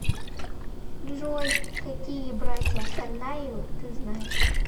джой какие братья царнаевы ты знаешь